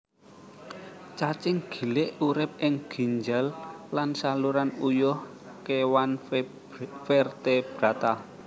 Cacing gilik urip ing ginjel lan saluran uyuh kéwan vertebrata